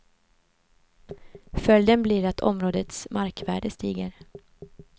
Följden blir att områdets markvärde stiger.